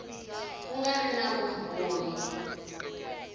ku nga ri na vumbhoni